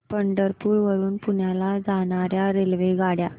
पंढरपूर वरून पुण्याला जाणार्या रेल्वेगाड्या